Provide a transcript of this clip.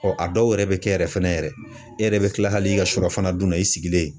a dɔw yɛrɛ bɛ kɛ yɛrɛ fɛnɛ yɛrɛ , e yɛrɛ bɛ kila hali i ka surafana dun na i sigilen